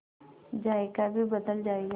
जायका भी बदल जाएगा